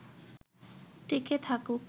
টিকে থাকুক